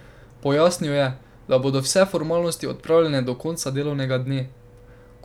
Pojasnil je, da bodo vse formalnosti opravljene do konca delovnega dne.